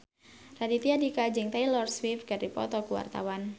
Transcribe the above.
Raditya Dika jeung Taylor Swift keur dipoto ku wartawan